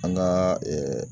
An kaa